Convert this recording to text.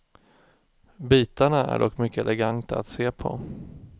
Bitarna är dock mycket eleganta att se på.